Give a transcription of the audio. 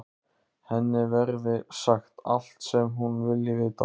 Henni verði sagt allt sem hún vilji vita.